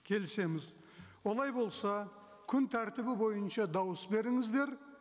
келісеміз олай болса күн тәртібі бойынша дауыс беріңіздер